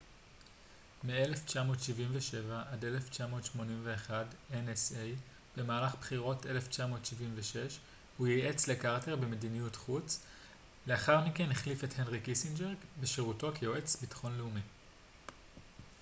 במהלך בחירות 1976 הוא ייעץ לקרטר במדיניות חוץ לאחר מכן החליף את הנרי קיסינג'ר בשירותו כיועץ ביטחון לאומי nsa מ1977 עד 1981